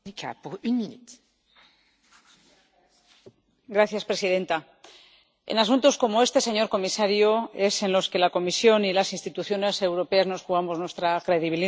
Señora presidenta, en asuntos como este, señor comisario, es en los que la Comisión y las instituciones europeas nos jugamos nuestra credibilidad.